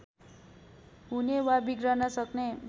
हुने वा बिग्रन सक्ने